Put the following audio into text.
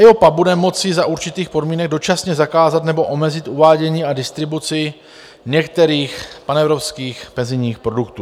EIOPA bude moci za určitých podmínek dočasně zakázat nebo omezit uvádění a distribuci některých panevropských penzijních produktů.